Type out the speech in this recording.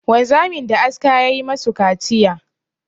Wanzamin da aska ya yi ma su kaciya.